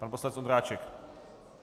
Pan poslanec Ondráček.